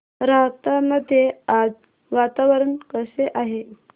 राहता मध्ये आज वातावरण कसे आहे